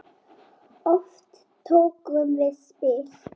Oft tókum við spil.